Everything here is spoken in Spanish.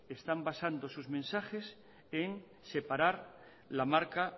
están basando sus mensajes en separar la marca